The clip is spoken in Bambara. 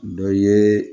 Dɔ ye